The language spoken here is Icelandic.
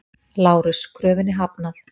LÁRUS: Kröfunni hafnað!